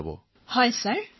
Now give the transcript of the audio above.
তৰন্নুম খানঃ হয় মহাশয়